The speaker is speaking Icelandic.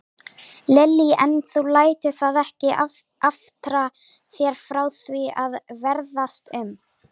Lillý: En þú lætur það ekki aftra þér frá því að ferðast um?